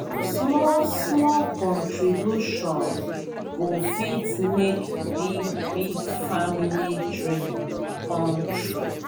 small-small contribution go fit make big big family dream come true.